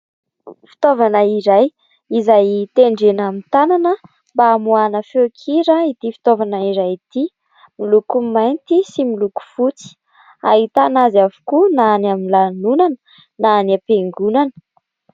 Fitaovana iray izay tendrena amin'ny tanana mba hamoahana feonkira ity fitaovana iray ity. Miloko mainty sy miloko fotsy. Ahitana azy avokoa na any amin'ny lanonana na any am-piangonana.